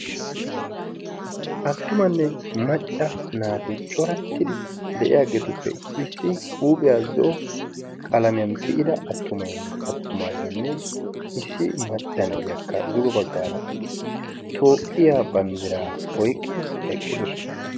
attumanne macca naati corattidi de7iyaageetuppe issi huuphiyaa zo'o qalamiyan tiyida attuma attumaageenne issi maccana iyakka dugo baggaara toophphiyaa banddiraa oiqqidi eqqidosona.